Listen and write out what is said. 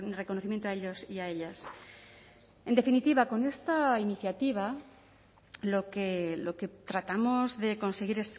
reconocimiento a ellos y a ellas en definitiva con esta iniciativa lo que tratamos de conseguir